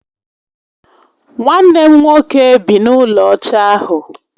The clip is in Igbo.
Nwanne m nwoke bị n'ulo ọcha ahu